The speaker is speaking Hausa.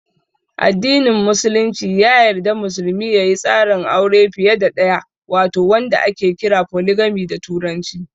Addinin Musulunci ya yarda musulmi ya yi tsarin aure fiye da ɗaya wato wanda ake kira "Foligami" da turanci.